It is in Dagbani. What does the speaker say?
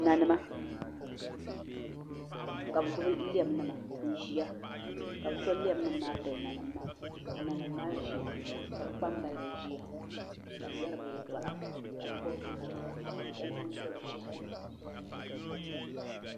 Nanima ka bi gbuni lɛm nima n ʒiya ka bi to lɛm nim maa pili nanim maa ka nanim maa ʒiya ka bi kpambalibi ʒiya ka bi yɛri bi yɛltɔɣa ka bi gobi chinchina ka shab zaŋ so bi shɛhi ni